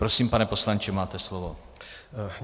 Prosím, pane poslanče, máte slovo.